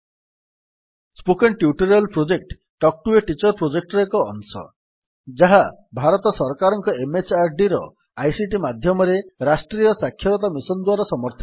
spoken tutorial project talk to a teacher ପ୍ରୋଜେକ୍ଟର ଏକ ଅଂଶ ଯାହା ଭାରତ ସରକାରଙ୍କ MHRDର ଆଇସିଟି ମାଧ୍ୟମରେ ରାଷ୍ଟ୍ରୀୟ ସାକ୍ଷରତା ମିଶନ୍ ଦ୍ୱାରା ସମର୍ଥିତ